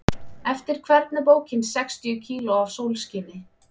Eftir hvern er bókin Sextíu kíló af sólskini?